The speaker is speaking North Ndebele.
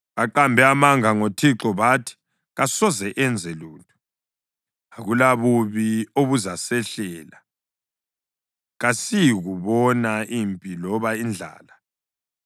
Baqambe amanga ngoThixo bathi, “Kasoze enze lutho! Akulabubi obuzasehlela, kasiyikubona impi loba indlala.